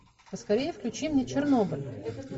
поскорее включи мне чернобыль